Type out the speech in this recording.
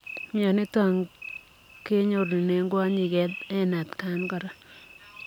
Mionitok ko kinyorunee kwonyik eng atakan koraa.